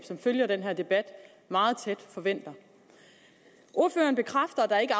som følger den her debat meget tæt forventer ordføreren bekræfter at der ikke